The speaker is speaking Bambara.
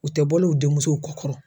U tɛ bɔl'u denmusow kɔkɔrɔ